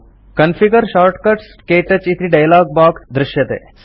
configure shortcuts - क्तौच इति dialog box दृष्यते